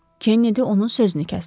Kennedy onun sözünü kəsdi.